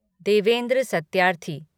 Devendra Satyarthi